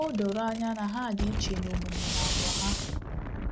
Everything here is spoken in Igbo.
O doro anya na ha dị iche n’omume na àgwà ha.